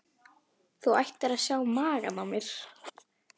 Þú ættir að sjá magann á mér.